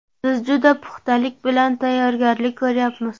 Biz juda puxtalik bilan tayyorgarlik ko‘ryapmiz.